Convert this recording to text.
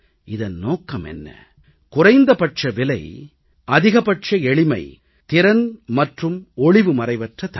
இதன் நோக்கம் என்ன குறைந்தபட்ச விலை அதிகபட்ச எளிமை திறன் மற்றும் ஒளிவுமறைவற்ற தன்மை